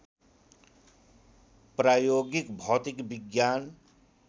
प्रायोगिक भौतिक विज्ञान